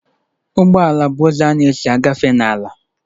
Ụgbọ ala bụ ụzọ a na-esi agafe n'ala